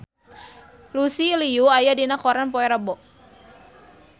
Lucy Liu aya dina koran poe Rebo